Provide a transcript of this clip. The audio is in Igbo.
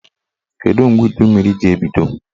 Kedụ mgbe udummiri ji ebido?